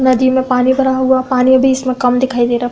नदी में पानी भरा हुआ है पानी अभी इसमें कम दिखाई दे रहा।